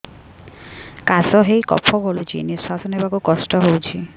କାଶ ହେଇ କଫ ଗଳୁଛି ନିଶ୍ୱାସ ନେବାକୁ କଷ୍ଟ ହଉଛି